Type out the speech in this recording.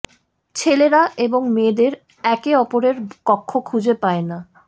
ছেলেরা এবং মেয়েদের একে অপরের কক্ষ খুঁজে পায় না